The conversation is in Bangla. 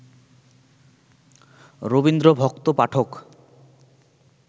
রবীন্দ্রভক্ত পাঠক